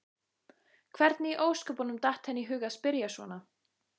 Hvernig í ósköpunum datt henni í hug að spyrja svona!